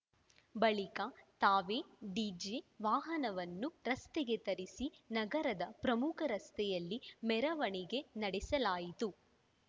ಬಳಿಕ ತಾವೇ ಡಿಜೆ ವಾಹನವನ್ನು ರಸ್ತೆಗೆ ತರಿಸಿ ನಗರದ ಪ್ರಮುಖ ರಸ್ತೆಯಲ್ಲಿ ಮೆರವಣಿಗೆ ನಡೆಸಲಾಯಿತು